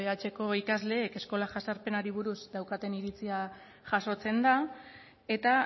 dbhko ikasleek eskola jazarpenari buruz daukaten iritzia jasotzen da eta